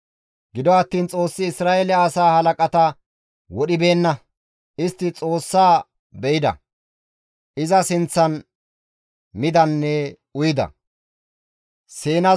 Gido attiin Xoossi Isra7eele asaa halaqata wodhibeenna; istti Xoossaa be7ida; iza sinththan midanne uyida.